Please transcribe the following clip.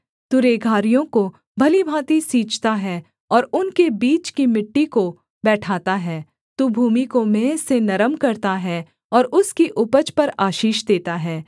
तू रेघारियों को भली भाँति सींचता है और उनके बीच की मिट्टी को बैठाता है तू भूमि को मेंह से नरम करता है और उसकी उपज पर आशीष देता है